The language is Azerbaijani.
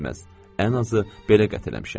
Ən azı belə qətl eləmişəm.